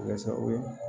Walasa o ye